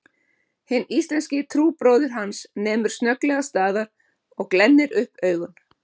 Hinn íslenski trúbróðir hans nemur snögglega staðar og glennir upp augun